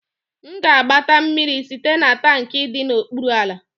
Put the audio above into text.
M ga-agbata mmiri site na tankị dị n'okpuru ala